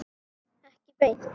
Ekki beint.